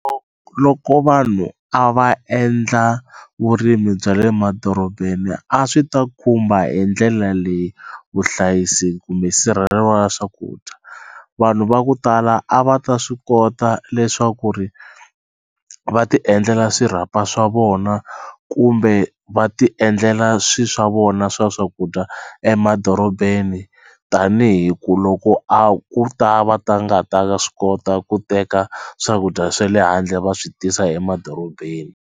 Loko vanhu a va endla vurimi bya le madorobeni a swi ta khumba hi ndlela leyi vuhlayisi kumbe wa swakudya vanhu va ku tala a va ta swi kota leswaku ri va ti endlela swirhapa swa vona kumbe va ti endlela swi swa vona swa swakudya emadorobeni tanihi ku loko a ku ta va ta nga ta swi kota ku teka swakudya swe le handle va swi tisa emadorobeni.